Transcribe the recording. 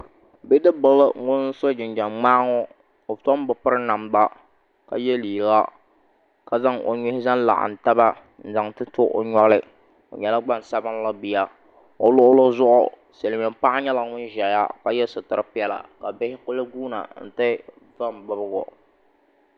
Bi dib ŋun so jinjam ŋmaaŋɔ o tom bɛ porinamda la yɛ liiga ka zan o nin zanlaɣim taba zan ti to o nyoɣu ni o luɣulizuɣu siliinmiin paɣi nyɛla ŋunzɛya ka yɛ situri piɛla ka bihi kuli guuna n ti van bibiko